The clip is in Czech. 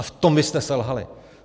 A v tom vy jste selhali.